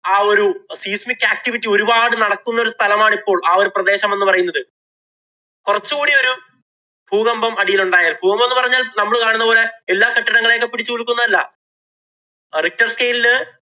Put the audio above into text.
ആ ഒരു seismic activity ഒരുപാട് നടക്കുന്ന ഒരു സ്ഥലമാണ്‌ ഇപ്പോള്‍ ആ ഒരു പ്രദേശം എന്ന് പറയുന്നത്. കൊറച്ച് കൂടി ഒരു ഭൂകമ്പം അടിയിലുണ്ടായാല്‍ ഭൂകമ്പം എന്ന് പറഞ്ഞാല്‍ നമ്മള് കാണുന്ന പോലെ എല്ലാ കെട്ടിടങ്ങളേയും പിടിച്ചു കുലുക്കുക ഒന്നും അല്ല. richter scale ഇല്